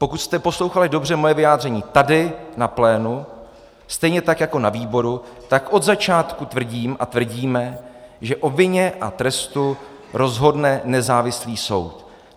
Pokud jste poslouchali dobře moje vyjádření tady na plénu stejně tak jako na výboru, tak od začátku tvrdím a tvrdíme, že o vině a trestu rozhodne nezávislý soud.